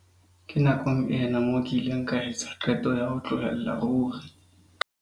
Ke nakong ena moo ke ileng ka etsa qeto ya ho tlohella ruri.